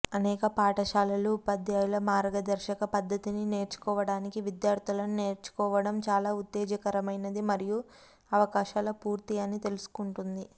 అనేక పాఠశాలలు ఉపాధ్యాయుల మార్గదర్శక పద్ధతిని నేర్చుకోవటానికి విద్యార్థులను నేర్చుకోవడం చాలా ఉత్తేజకరమైనది మరియు అవకాశాల పూర్తి అని తెలుసుకుంటుంది